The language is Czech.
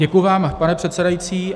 Děkuji vám, pane předsedající.